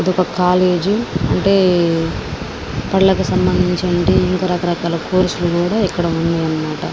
ఇది ఒక కాలేజ్ అంటే కళలకి సంభందించినవంటి రకరకాల కోర్సు లు కూడా ఇక్కడ ఉన్నాయి అనమాట.